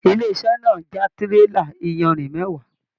Ilé-iṣẹ̀ náà já tírélà iyanrìn mẹwa.